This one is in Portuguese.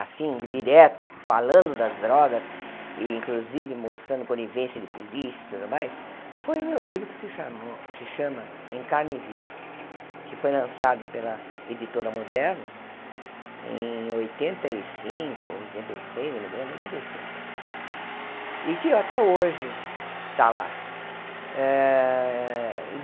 assim, direto, falando das drogas e, inclusive, mostrando conivência de polícia e tudo mais, foi o meu livro que se chamou, se chama Em carne Viva, que foi lançado pela Editora Moderna em oitenta e cinco, oitenta e seis, eu me lembro, oitenta e cinco, e que até hoje está lá. Eh